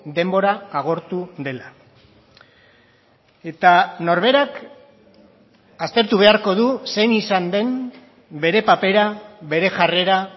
denbora agortu dela eta norberak aztertu beharko du zein izan den bere papera bere jarrera